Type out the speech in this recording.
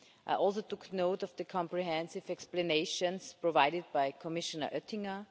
I also took note of the comprehensive explanations provided by Commissioner Oettinger.